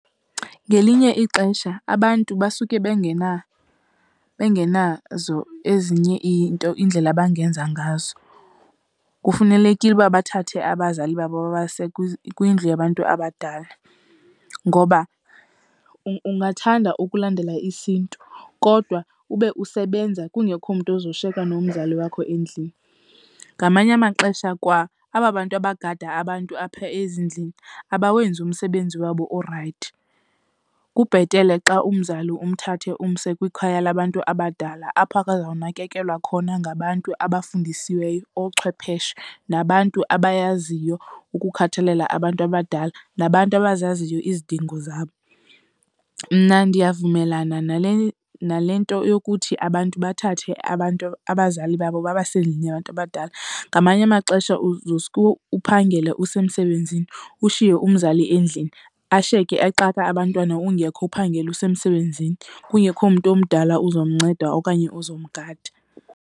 Ngelinye ixesha abantu basuke bengenazo ezinye iinto, iindlela abangenza ngazo, kufunelekile uba bathathe abazali babo babase kwindlu yabantu abadala. Ngoba ungathanda ukulandela isiNtu kodwa ube usebenza kungekho mntu uzoshiyeka nomzali wakho endlini, ngamanye amaxesha kwa aba bantu abagada abantu apha ezindlini abawenzi umsebenzi wabo orayithi. Kubhetele xa umzali umthathe umse kwikhaya labantu abadala apho ke azawunakekelwa khona ngabantu abafundisiweyo ochwepheshe, nabantu abayaziyo ukukhathalela abantu abadala, nabantu abazaziyo izidingo zabo. Mna ndiyavumelana nale, nale nto yokuthi abantu bathathe abazali babo babase endlini yabantu abadala. Ngamanye amaxesha uzoske uphangele usemsebenzini, ushiye umzali endlini ashiyeke exaka abantwana ungekho uphangele usemsebenzini kungekho mntu omdala uzomnceda okanye uzomgada.